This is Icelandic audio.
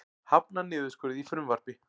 Hafnar niðurskurði í frumvarpi